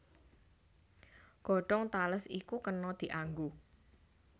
Godhong tales iku kena dianggo